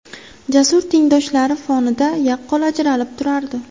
Jasur tengdoshlari fonida yaqqol ajralib turardi.